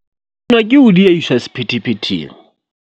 Nwa ke ho diehiswa sephethephetheng.